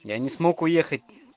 я не смог уехать